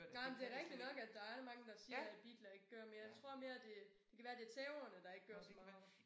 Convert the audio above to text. Nej men det rigtig nok at der er mange der siger at beagler ikke gør men jeg tror mere det det kan være det det tæverne der ikke gør så meget